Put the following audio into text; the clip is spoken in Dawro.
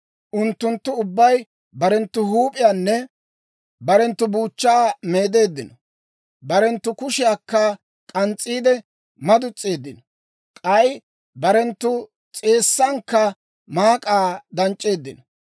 Unttunttu ubbay barenttu huup'iyaanne barenttu buuchchaa meedeeddino; barenttu kushiyaakka k'ans's'iide madutseeddino; k'ay barenttu s'eessankka maak'aa danc'c'eeddino.